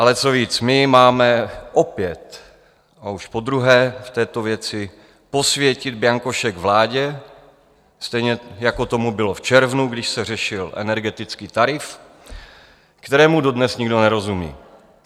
Ale co víc, my máme opět, a už podruhé, v této věci posvětit bianko šek vládě, stejně jako tomu bylo v červnu, když se řešil energetický tarif, kterému dodnes nikdo nerozumí.